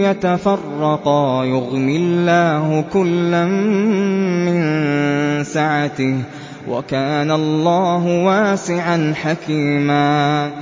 يَتَفَرَّقَا يُغْنِ اللَّهُ كُلًّا مِّن سَعَتِهِ ۚ وَكَانَ اللَّهُ وَاسِعًا حَكِيمًا